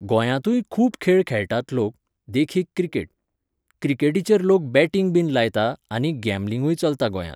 गोयांतूय खूब खेळ खेळटात लोक, देखीक क्रिकेट. क्रिकेटीचेर लोक बॅटींग बीन लायता आनी गॅमलींगूय चलता गोंयांत.